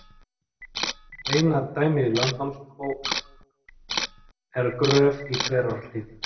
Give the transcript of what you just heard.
Eina dæmið í Landnámabók er Gröf í Þverárhlíð.